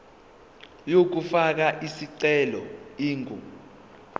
yokufaka isicelo ingu